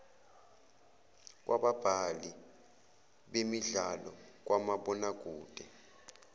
kwababhali bemidlalo kamabonakede